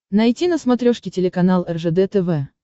найти на смотрешке телеканал ржд тв